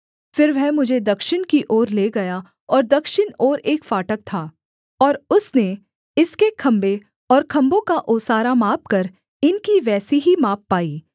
फिर वह मुझे दक्षिण की ओर ले गया और दक्षिण ओर एक फाटक था और उसने इसके खम्भे और खम्भों का ओसारा मापकर इनकी वैसी ही माप पाई